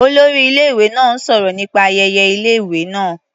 Olórí ilé-ìwé náà ń sọ̀rọ̀ nípa ayẹyẹ ilé-ìwé náá.